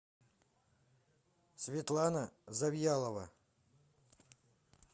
светлана завьялова